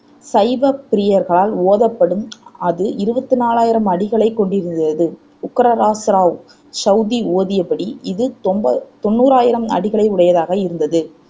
சைவப்பிரியர்களால் ஓதப்படும் அது இருவத்தி நாலாயிரம் அடிகளைக் கொண்டிருந்தது உக்கிரராஸ்ராவ சௌதி ஓதியபடி இது தெம்ப தொண்ணூராயிரம் அடிகளை உடையதாக இருந்தது